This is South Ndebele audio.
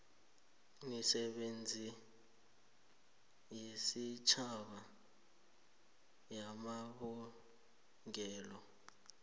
nemisebenzi yesitjhaba yamabulungelo